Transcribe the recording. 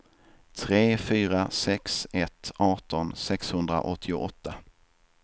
tre fyra sex ett arton sexhundraåttioåtta